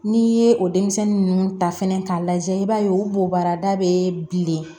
N'i ye o denmisɛnnin ninnu ta fɛnɛ k'a lajɛ i b'a ye o bobaarada bɛ bilen